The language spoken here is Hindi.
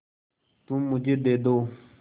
तुम मुझे दे दो